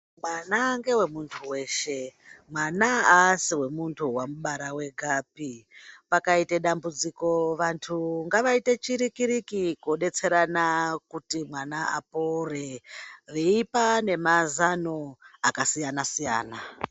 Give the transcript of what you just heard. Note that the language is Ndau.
Mwana ngewemuntu weshe. Mwana aasi wemuntu wamubara wegapi. Pakaite dambudziko vantu ngavaite chiriki riki kudetserana kuti mwana apore veipa nemazano akasiya siyana.